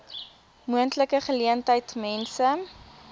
moontlike geleentheid mense